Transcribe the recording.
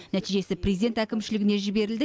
нәтижесі президент әкімшілігіне жіберілді